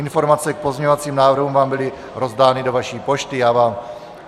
Informace k pozměňovacím návrhům vám byly rozdány do vaší pošty.